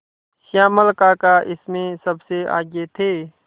श्यामल काका इसमें सबसे आगे थे